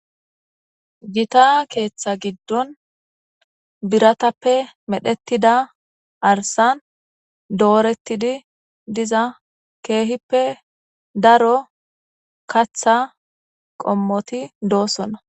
gita keeththa giddon biratappe medhettida arsan doorettidi diza keehippe daro katha qommoti doosona